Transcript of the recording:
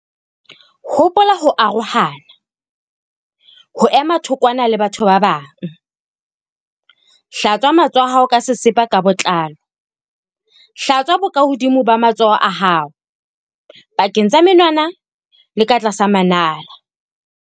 Hopola ho arohana, ho ema thokwana le batho ba bang. Hlatswa matsoho a hao ka sesepa ka botlalo. Hlatswa bokahodimo ba matsoho a hao, pakeng tsa menwana le ka tlasa manala.